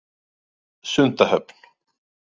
Sundahöfn